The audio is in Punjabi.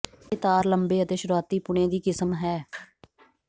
ਇਹ ਤਾਰ ਲੰਬੇ ਅਤੇ ਸ਼ੁਰੂਆਤੀ ਪੁਣੇ ਦੀ ਕਿਸਮ ਹੈ